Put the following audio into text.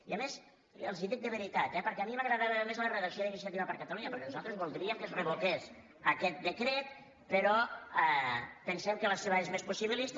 i a més els ho dic de veritat eh perquè a mi m’agradava més la redacció d’iniciativa per catalu·nya perquè nosaltres voldríem que es revoqués aquest decret però pensem que la seva és més possibilista